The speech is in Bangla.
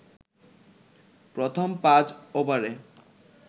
প্রথম পাঁচ ওভারে